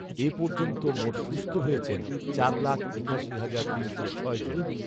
এ পর্যন্ত মোট সুস্থ হয়েছেন চার লাখ একাশি হাজার তিনশো ছয় জন